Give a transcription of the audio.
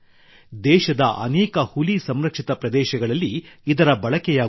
ದೇಶದ ಅನೇಕ ಹುಲಿ ಸಂರಕ್ಷಿತ ಪ್ರದೇಶಗಳಲ್ಲಿ ಇದರ ಬಳಕೆಯಾಗುತ್ತಿದೆ